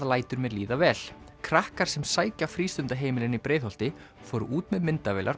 lætur mér líða vel krakkar sem sækja frístundaheimilin í Breiðholti fóru út með myndavélar